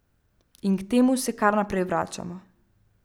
In k temu se kar naprej vračamo.